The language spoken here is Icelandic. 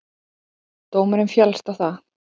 Dómurinn féllst á það.